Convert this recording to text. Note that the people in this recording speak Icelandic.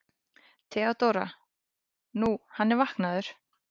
THEODÓRA: Nú, hann er vaknaður.